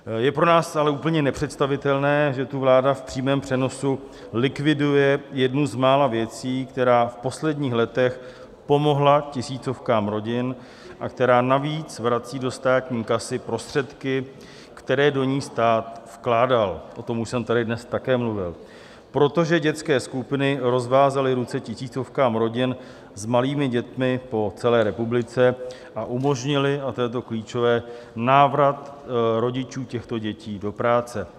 Je pro nás ale úplně nepředstavitelné, že tu vláda v přímém přenosu likviduje jednu z mála věcí, která v posledních letech pomohla tisícovkám rodin a která navíc vrací do státní kasy prostředky, které do ní stát vkládal, o tom už jsem tady dnes také mluvil, protože dětské skupiny rozvázaly ruce tisícovkám rodin s malými dětmi po celé republice a umožnily, a to je to klíčové, návrat rodičů těchto dětí do práce.